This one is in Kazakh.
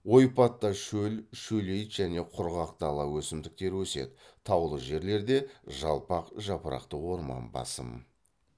ойпатта шөл шөлейт және құрғақ дала өсімдіктері өседі таулы жерлерде жалпақ жапырақты орман басым